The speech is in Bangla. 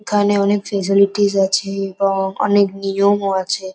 এখানে অনেক ফ্যাসিলিটিস আছে এবং অনেক নিয়মও আছে--